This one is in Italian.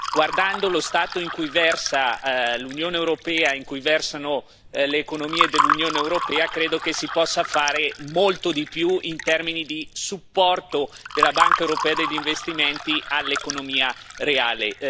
Guardando lo stato in cui versa l'Unione europea e in cui versano le economie dell'Unione europea, credo che si possa fare molto di più in termini di supporto della Banca europea per gli investimenti all'economia reale.